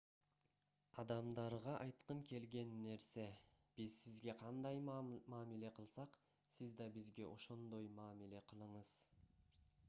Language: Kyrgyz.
адамдарга айткым келген нерсе биз сизге кандай мамиле кылсак сиз да бизге ошондой мамиле кылыңыз